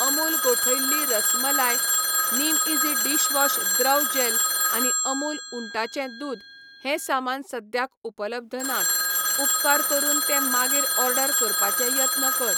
अमूल गोठयल्ली रसमलाय, निमईझी डिशवॉश द्रव जॅल आनी अमूल उंटाचें दूद हें सामान सद्याक उपलब्ध नात, उपकार करून ते मागीर ऑर्डर करपाचे यत्न कर.